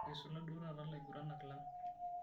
Eisula duo taata laiguranak lang.